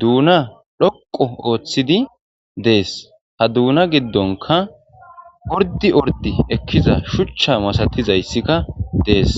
duuna dhoqo ooththidi dees ha duuna giddonka ordi ordi ekkiza shuchcha masatizayssikka dees.